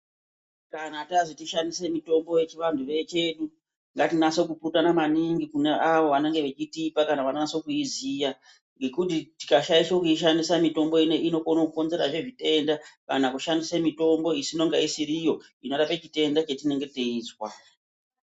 Kana tazwi tishandise mitombo yechivantu chedu ngatinase kupurutana maningi kune avo vanenge vachitipa kana vanonase kuiziva ngekuti tikashaisha kuishandisa mitombo inei inokwanisa kukonzerazve zvitenda kana kushandisa mitombo inonga isiriyo inorapa chitenda chatinenge teizwa.